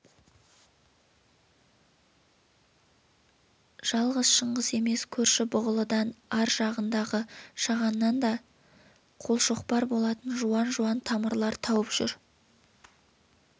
жалғыз шыңғыс емес көрші бұғылыдан ар жағындағы шағаннан да қолшоқпар болатын жуан-жуан тамырлар тауып жүр